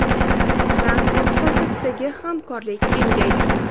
Transport sohasidagi hamkorlik kengaydi.